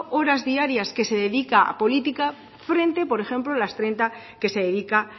horas diarias que se dedica a política frente por ejemplo las treinta que se dedica